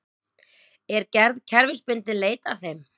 Er gerð kerfisbundinn leit að þeim